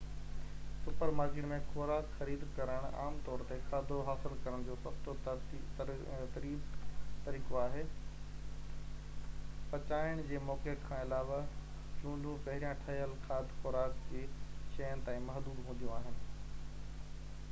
super market ۾ خوراڪ خريد ڪرڻ عام طور تي کاڌو حاصل ڪرڻ جو سستو تريب طريقو آهي پچائڻ جي موقعي کان علاوه چونڊون پهريان-ٺهيل کاڌ خوراڪ جي شين تائين محدود هونديون آهن